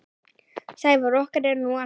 Sævar okkar er nú allur.